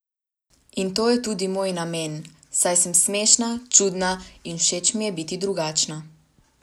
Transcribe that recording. In to je tudi moj namen, saj sem smešna, čudna, in všeč mi je biti drugačna.